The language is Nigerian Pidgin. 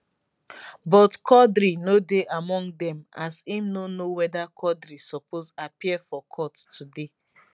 but quadri no dey among dem as im no know weda quadri suppose appear for court today